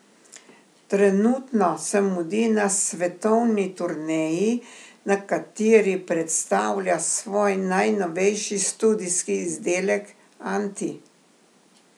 Trenutno se mudi na svetovni turneji, na kateri predstavlja svoj najnovejši studijski izdelek Anti.